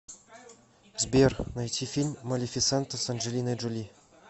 сбер найти фильм малефисента с анджелиной джоли